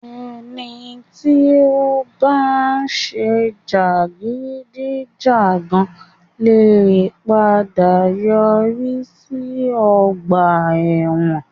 Ẹni tí ó bá ń ṣe jàgídíjàgan lè padà yọrí sí ọgbà ẹ̀wọ̀n.